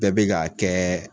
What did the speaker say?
Bɛɛ bi k'a kɛ